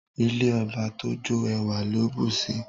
Ilé ọba tójó ẹwà ló bùsi